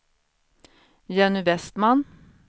Jenny Vestman